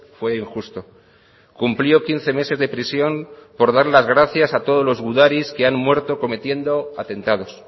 fue injusto cumplió quince meses de prisión por dar las gracias a todos los gudaris que han muerto cometiendo atentados